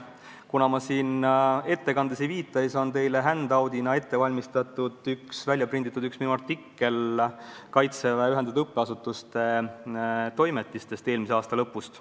Kuna ma siin ettekandes ei viita, siis on teile handout'ina välja prinditud minu artikkel Kaitseväe Ühendatud Õppeasutuste toimetiste eelmise aasta lõpu numbrist.